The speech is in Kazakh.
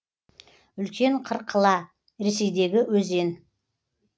үлкен кыркыла ресейдегі өзен